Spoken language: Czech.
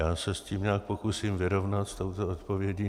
Já se s tím nějak pokusím vyrovnat, s touto odpovědí.